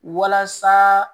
Walasa